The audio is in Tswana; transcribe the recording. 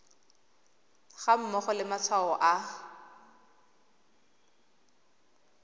ga mmogo le matshwao a